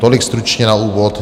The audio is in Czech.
Tolik stručně na úvod.